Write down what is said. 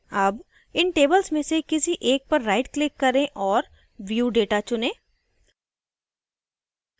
अब इन tables में से किसी एक पर rightclick करें और view data चुनें